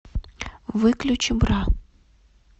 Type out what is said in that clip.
выключи бра